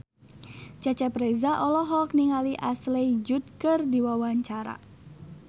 Cecep Reza olohok ningali Ashley Judd keur diwawancara